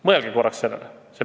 Mõelge korraks sellele.